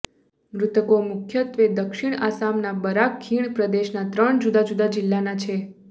મૃતકો મુખ્યત્વે દક્ષિણ આસામના બરાક ખીણ પ્રદેશના ત્રણ જુદા જુદા જિલ્લાના છે